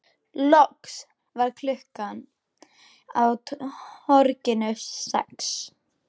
Loks varð klukkan á torginu sex.